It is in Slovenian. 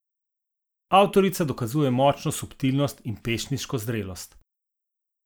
Avtorica dokazuje močno subtilnost in pesniško zrelost.